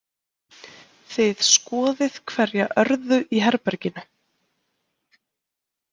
Þið skoðið hverja örðu í herberginu.